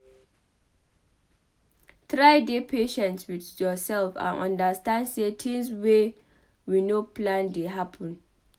Try dey patient with yourself and understand sey things wey we no plan dey happen